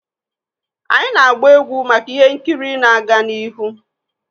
Anyị na-gba egwu maka ihe nkiri na-aga n'ihu,.